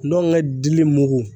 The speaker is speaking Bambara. Ndɔnkɛ dili mugu